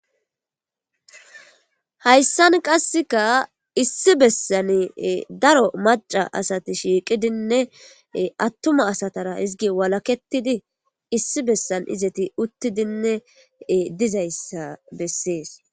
Hayisani qasika issi besan daro maca asati shiqidinee asati atuma asatara eti walaketidi issi besan izeti utidinee dizayisa beses